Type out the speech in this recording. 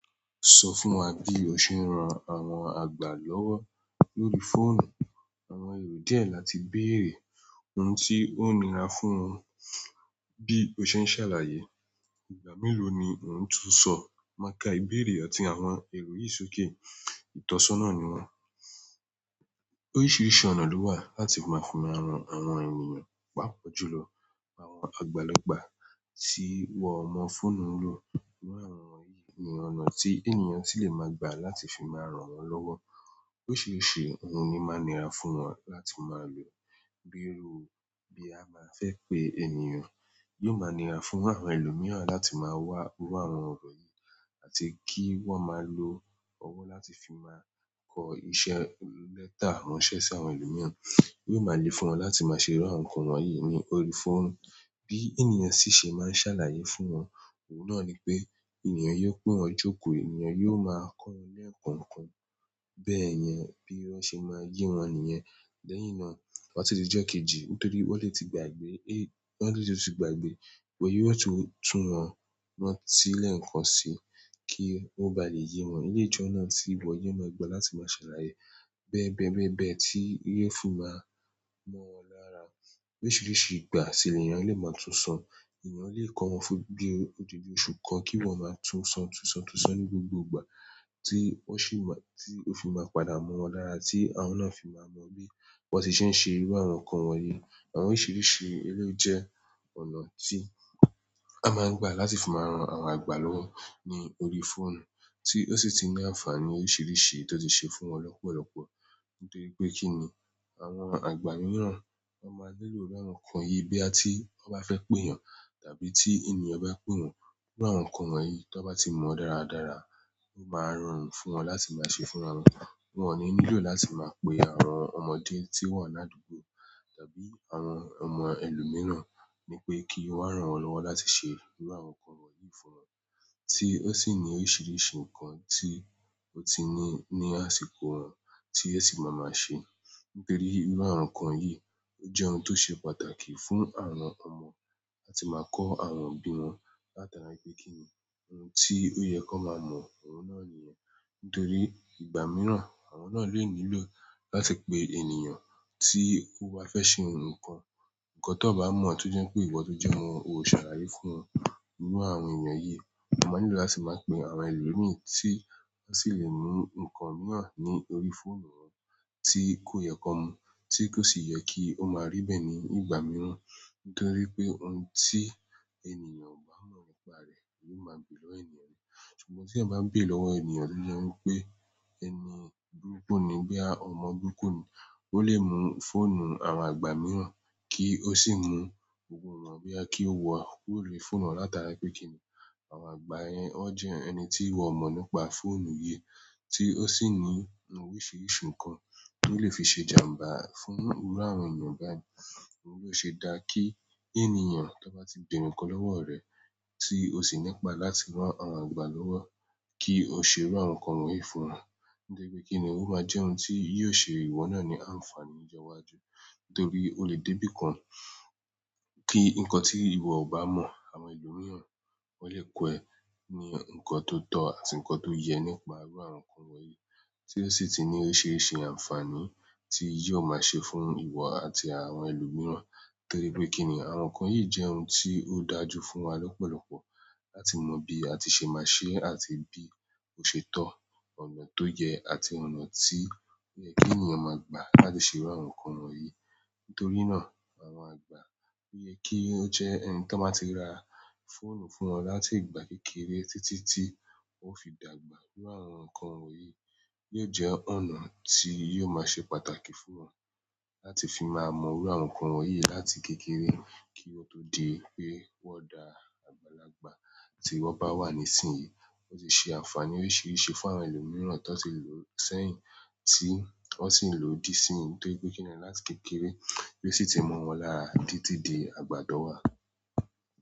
Sọ fún wa bí o ṣe ń ran àwọn àgbà lọ́wọ́ lórí fóònù. Oro wo díẹ̀ láti bèèrè oun ti onira fún bi o se n salaye ìgbà mélòó ni ò ń tún sọ maka ìbéèrè àti àwọn èrò yìí sókè? Ìtọ́sọ́nà ni wọ́n. Oríṣiríṣi ọ̀nà lowa láti maa n fi maa ran àwọn eyan pàápàá jùlọ àwọn àgbàlagbà ti wọn mọ fóònù lo. Àwọn èyí ni ọ̀nà tí ènìyàn ti lè máa gbà láti fi máa ran wọn lọ́wọ́. Oríṣiríṣi ohun ni máa nira fún wọn láti máa lò, bíi irúu bí a bá fẹ́ pé ènìyàn. Yóò máa nira fún àwọn ẹlòmíràn láti máa wá rí àwọn ọ̀rọ̀ yìí àti kí wọ́n máa lo ọwọ́ láti fi máa kọ iṣẹ́ lẹ́tà ránṣẹ́ sí àwọn ẹlòmíràn. Yóò máa le fún wọn láti máa ṣe rán ǹkan wọ̀nyí ní orí fóònù. Bí ènìyàn ṣe ṣe máa ń ṣàlàyé fún wọn, òun náà ni pé ènìyàn yóò pé wọn jókòó, ènìyàn yóò máa kọ́ wọn lẹ́ẹ̀ko kan bẹ́ẹ̀ yẹn bí wọn ṣe máa yí wọn nìyẹn. Lẹ́yìn náà, to ba tidi ijo kejì. Nítorí wọ́n lè ti gbàgbé, wọ́n lè ti tún gbàgbé wọlé wọ́n sì tún wọn rántí sí ilé ǹkan síí kí ó ba lè yé wọn. Eleyi jọ náà tí ìwọ yóò máa gbà láti máa ṣàlàyé bẹ́ẹ̀ bẹ́ẹ̀ bẹ́ẹ̀ bẹ́ẹ̀ tí yofi máa mọ́ wọn lára. Oríṣiríṣi ìgbà sì ènìyàn lè máa tún san. Eyan le ko wọn fún bi odidi osun kan ki yan ma tunso tunso tunso ni gbogbo ìgbà ti oo fi ma padà mo wón lára ti àwọn na fi ma mo bi wọn se se iru àwọn kan wọ̀nyí. Àwọn oríṣiríṣi eré jẹ́ ọ̀nà tí a máa ń gbà láti fi máa ran àwọn àgbà lọ́wọ́ ní orí fóònù tí ó sì ti ní àǹfààní oríṣiríṣi tí ó ti ṣe fún wọn lọ́pọ̀lọpọ̀. Nítorí pé kí ni àwọn àgbà mìíràn, wọ́n máa lè lo irú àwọn ǹkan yìí bí àti tí wọ́n bá fẹ́ pé ènìyàn tàbí tí ènìyàn bá pé wọn. Irú àwọn ǹkan wọ̀nyí tí wọ́n bá ti mọ dáradára, yóò máa rọrùn fún wọn láti máa ṣe fún àwọn. Wọn ò ní nílò láti máa pe àwọn ọmọdé tí wọ́n ládùúgbò tàbí àwọn ọmọ ẹlòmíràn, ní pé kí wọ́n rán wọn lọ́wọ́ láti ṣe irú àwọn ǹkan wọ̀nyí fún wọn. Tí ó sì ní oríṣiríṣi ǹkan tí ó ti ní ní àsìkò wọn tí ẹ sì máa máa ṣe. Nítorí irú àwọn ǹkan yìí ó jẹ́ ohun tó ṣe pàtàkì fún àwọn ọmọ àti máa kọ àwọn bí wọn láti ara pé kí ni ohun tí ó yẹ kó máa mọ, òun náà nìyẹn. Nítorí ìgbà miran àwọn na le nílò láti pe ènìyàn ti o ba fe se nkan ǹkan tó bá mọ̀ án tó jẹ́ pé ìwọ tó jẹ́ mọ, o ṣàlàyé fún wọn irú àwọn ènìyàn yìí. Wọn máa nílò láti máa pe àwọn ẹlòmíràn tí wọ́n sì lè mú nǹkan mìíràn ní orí fóònù wọn tí kò yẹ kó mú, tí kò sì yẹ kí ó máa rí bẹ́ẹ̀ ní ìgbà mìíràn. Nítorí pé ohun tí ènìyàn ò bá mọ̀ nípa rẹ̀, yóò máa gbè lọ́wọ́ ènìyàn náà. Ṣùgbọ́n tí ẹ bá ń gbè lọ́wọ́ ènìyàn tó jẹ́ pé ẹni burukù ni bí i ọmọ burukù ni, ó lè mú fóònù àwọn àgbà mìíràn kí ó sì mú gbogbo ìwọ̀n bíi kí ó wọ òwúrì fóònù láti ara pé kí ni àwọn àgbà yẹn ó jẹ́ ẹni tí wọ́n mọ̀ nípa fóònù yìí tí ó sì ní oríṣiríṣi ǹkan tó lè fi ṣe jàmbá fún irú àwọn ènìyàn báyìí. Òun yóò ṣe dáa kí ènìyàn tí ó bá ti gbèrò ǹkan lọ́wọ́ rẹ tí ó sì nípá láti rán àwọn àgbà lọ́wọ́ kí ó ṣe rán ǹkan wọ̀nyí fún wọn. Nítorí pé kí ni ó máa jẹ́ ohun tí yóò ṣe ìwọ náà ní àǹfààní lọ́jọ́ iwájú. Nítorí ó lè dé bí i kí nǹkan tí ìwọ ò bá mọ̀ àwọn ẹlòmíràn wọ́n lè kọ́ ẹ ní nǹkan tó tọ́ àti ǹkan tó yẹ nípa irú àwọn ǹkan wọ̀nyí tí ó sì ti ní oríṣiríṣi àǹfààní tí yóò máa ṣe fún ìwọ àti àwọn ẹlòmíràn. Nítorí pé kí ni àwọn ǹkan yìí jẹ́ ohun tí ó dájú fún wa lọ́pọ̀lọpọ̀ láti mọ bí a ti ṣe máa ṣe àti bí ó ṣe tọ́ ọ̀nà tó yẹ àti ọ̀nà tí ó yẹ kí ènìyàn máa gbà láti ṣe irú àwọn ǹkan wọ̀nyí. Nítorí náà àwọn àgbà yẹ kí ó jẹ́ ẹni tí wọ́n máa ti ra fóònù fún wọn láti ìgbà kékeré títí tí ó fi dàgbà. Irú àwọn ǹkan wọ̀nyí lè jẹ́ ọ̀nà tí yóò máa ṣe pàtàkì fún wọn láti fi máa mọ irú àwọn ǹkan wọ̀nyí láti kékeré kí ó tó di pé wọ́n da àgbàlagbà tí wọ́n bá wà nísìnyí. Ó sì ṣe àǹfààní oríṣiríṣi fún àwọn ẹlòmíràn tó ti lò ó sẹ́yìn tí wọ́n sì ń lò ó di sí ìsìn. Nítorí pé kí ni láti kékeré ló sì ti mọ̀ wọ́n lára títí di àgbà tó wà.